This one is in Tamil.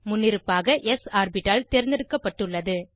முன்னிருப்பாக ஸ் ஆர்பிட்டால் தேர்ந்தெடுக்கப்பட்டுள்ளது